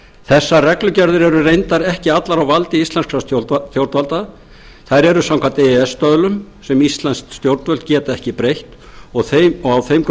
þessar reglugerðir eru reyndar ekki allar á valdi íslenskra stjórnvalda þær eru samkvæmt e e s stöðlum sem íslensk stjórnvöld geta ekki breytt og á þeim